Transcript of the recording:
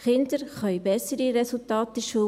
Kinder können bessere Resultate erzielen.